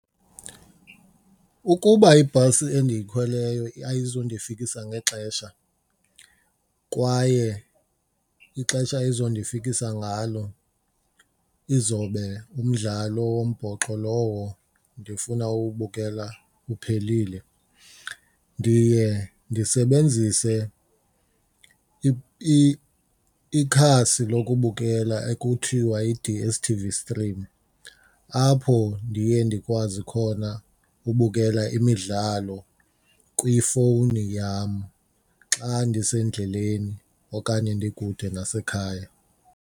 Ukuba ibhasi endiyikhweleyo ayizundifikisa ngexesha kwaye ixesha izondifikisa ngalo izobe umdlalo wombhoxo lowo ndifuna uwubukela uphelile ndiye ndisebenzise ikhasi lokubukela ekuthiwa yi-D_S_t_v stream apho ndiye ndikwazi khona ubukela imidlalo kwifowuni yam xa ndisendleleni okanye ndikude nasekhaya.